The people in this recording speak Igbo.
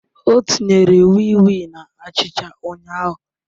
O tinyere wii wii na achicha ụnyahụ